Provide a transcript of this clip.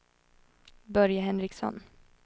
Börje Henriksson